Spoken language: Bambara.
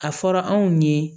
A fɔra anw ye